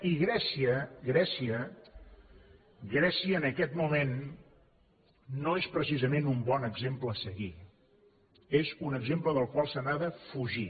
i grècia en aquest moment no és precisament un bon exemple a seguir és un exemple del qual s’ha de fugir